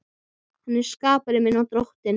Hann er skapari minn og Drottinn.